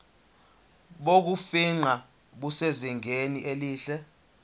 bokufingqa busezingeni elihle